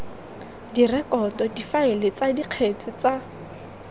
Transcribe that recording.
direkoto difaele tsa dikgetse tsa